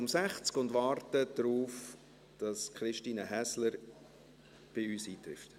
Wir warten darauf, dass Christine Häsler bei uns eintrifft.